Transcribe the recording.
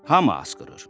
Hamı asqırır.